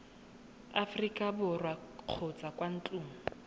aforika borwa kgotsa kwa ntlong